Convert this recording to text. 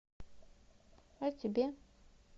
а тебе